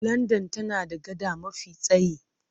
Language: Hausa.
London tana da gada mafi tsayi.